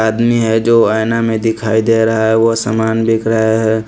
आदमी है जो ऐना में दिखाई दे रहा है वह सामान बिक रहा है।